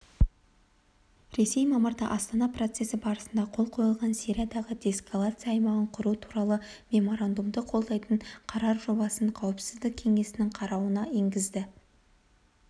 ресей мамырда астана процесі барысында қол қойылған сириядағы деэскалация аймағын құру туралы меморандумды қолдайтын қарар жобасын қауіпсіздік кеңесінің қарауына енгізді